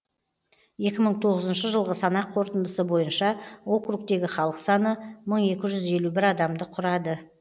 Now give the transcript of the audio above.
екі мың тоғызыншы жылғы санақ қорытындысы бойынша округтегі халық саны мың екі жүз елу бір адамды құрады